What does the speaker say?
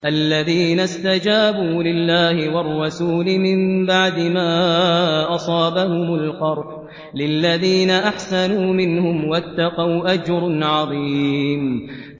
الَّذِينَ اسْتَجَابُوا لِلَّهِ وَالرَّسُولِ مِن بَعْدِ مَا أَصَابَهُمُ الْقَرْحُ ۚ لِلَّذِينَ أَحْسَنُوا مِنْهُمْ وَاتَّقَوْا أَجْرٌ عَظِيمٌ